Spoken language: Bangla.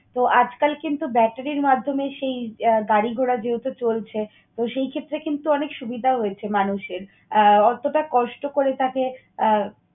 তো, আজকাল কিন্তু battery র মাধ্যমে সেই আহ গাড়ি ঘোড়া যেহেতু চলছে, তো সেই ক্ষেত্রে কিন্তু অনেক সুবিধাও হয়েছে মানুষের। আহ অতটা কষ্ট করে তাকে আহ